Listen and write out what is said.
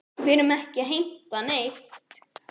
Við erum ekki að heimta neitt.